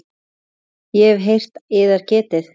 Ég hef heyrt yðar getið.